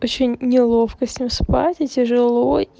очень неловко с ним спать и тяжело